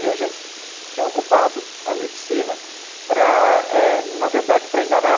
E a gente tinha ocupado a medicina, para eh, na verdade, para enganar.